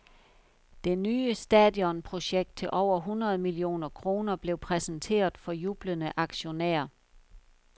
Det nye stadionprojekt til over hundrede millioner kroner blev præsenteret for jublende aktionærer.